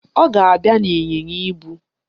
Ọ ga-abịa n'ịnyịnya ibu.